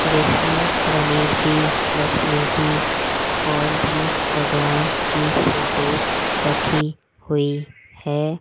इसमें गणेश जी लक्ष्मी जी और भी भगवान की फोटोस रखी हुई है।